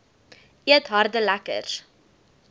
eet harde lekkers